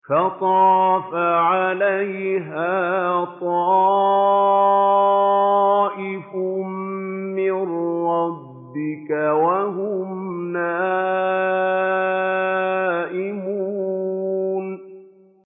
فَطَافَ عَلَيْهَا طَائِفٌ مِّن رَّبِّكَ وَهُمْ نَائِمُونَ